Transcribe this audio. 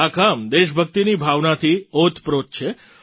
આ કામ દેશભક્તિની ભાવનાથી ઓતપ્રોત છે